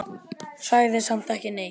Sagði samt ekki neitt.